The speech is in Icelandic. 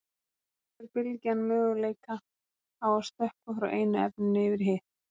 Þá hefur bylgjan möguleika á að stökkva frá einu efninu yfir í hitt.